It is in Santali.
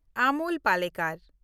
ᱟᱢᱳᱞ ᱯᱟᱞᱮᱠᱟᱨ